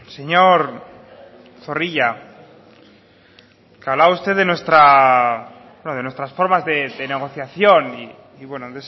señor zorrilla hablaba usted de nuestras formas de negociación y bueno